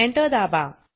Enter दाबा